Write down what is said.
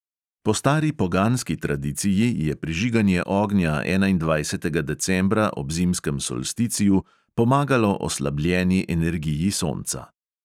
Po stari poganski tradiciji je prižiganje ognja enaindvajsetega decembra ob zimskem solsticiju pomagalo oslabljeni energiji sonca.